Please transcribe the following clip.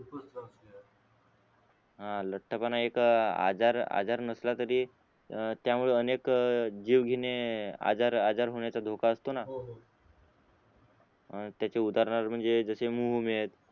हां लठ्ठ पणा एक आजार आजार नसला तरी त्या मुळे अनेक जीवघेणे आजार होण्याचा धोका असतो ना त्याचे उदाहरण म्हणजे मोह न होणे